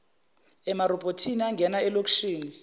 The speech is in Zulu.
emarobhothini angena elokishini